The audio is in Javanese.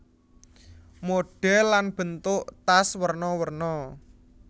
Modhèl lan bentuk tas werna werna